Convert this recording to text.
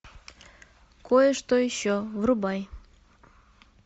кое что еще врубай